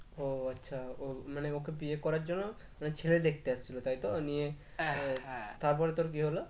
ও আচ্ছা ও মানে ওকে বিয়ে করার জন্য মানে ছেলে দেখতে আসছিলো তাই তো নিয়ে তারপরে তোর কি হলো?